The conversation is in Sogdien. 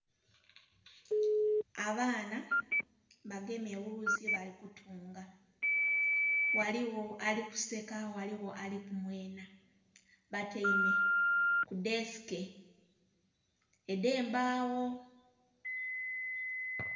Abaana abagemye wuzi balikutunga ghaligho alikuseka ghaligho alikumwena batyaime kudhesike edhembagho.